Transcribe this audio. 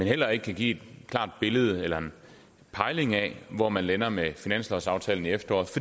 heller ikke kan give et klart billede eller en pejling af hvor man lander med finanslovsaftalen i efteråret